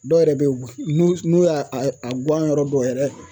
Dɔw yɛrɛ bɛ yen n'u n'u y'a a a guwan yɔrɔ dɔ yɛrɛ